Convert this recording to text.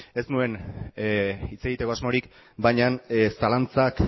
ez nuen hitz egiteko asmorik baina zalantzak